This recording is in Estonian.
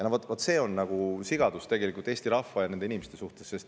Vot see on tegelikult sigadus Eesti rahva suhtes, nende inimeste suhtes.